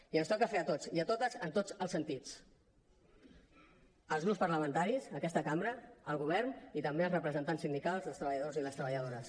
i ens toca fer a tots i a totes en tots els sentits als grups parlamentaris a aquesta cambra al govern i també als representants sindicals dels treballadors i les treballadores